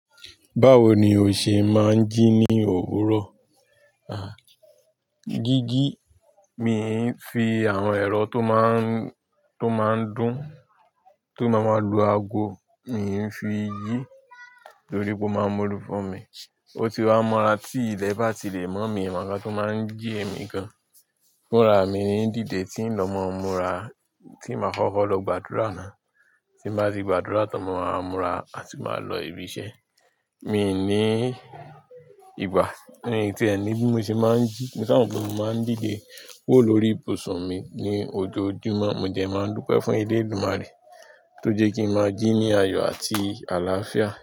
Báwo ni o ṣe máa ń jí ní òwúrọ̀? Àn, jíjí, mi ń fi àwọn ẹ̀rọ tó máa ń, tó máa ń dùn, tó máa ń lu ago, mi ń fi jí torí pé ó máa ń mọlu fún mi. O ti wá mọra tí ilẹ̀ bá ti lè mọ̀ mí, mi ò mọ ǹnkan tó máa ń jí èmi gan. Fúnra mi ní dìde tí ń lọ mọ́mura, tí màá kọ́kọ́ lọ gbàdúrà ná. Tí bàá ti gbàdúrà tán, mo máa múra láti máa lọ ibi iṣẹ́. Mi ní ìgbà mi tí ẹ́ni bí mo ṣe máa ń jí, mo sáà mọ̀ pé mo máa ń dìde kúrò lórí ibùsùn mi ní ojoojúmọ́, mo dẹ̀ máa ń dúpẹ́ fún elédùmarè tó jẹ́ kí ń máa jí ní ayọ̀ àti àlàáfíà.